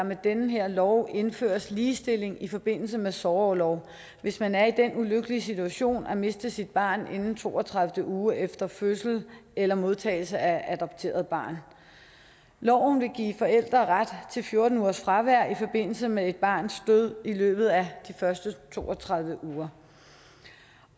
med den her lov indføres ligestilling i forbindelse med sorgorlov hvis man er i den ulykkelige situation at miste sit barn inden to og tredive uge efter fødsel eller modtagelse af et adopteret barn loven vil give forældre ret til fjorten ugers fravær i forbindelse med et barns død i løbet af de første to og tredive uger